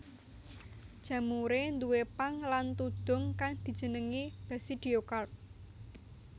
Jamuré duwé pang lan tudhung kang dijenengi basidiokarp